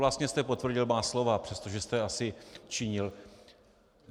Vlastně jste potvrdil má slova, přestože jste asi činil.